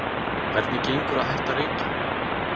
Hvernig gengur að hætta að reykja?